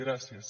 gràcies